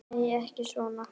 Nei, ekki svo